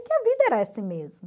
E que a vida era mesmo.